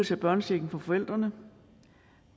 tage børnechecken fra forældrene